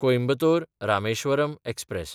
कोयंबतोर–रामेश्वरम express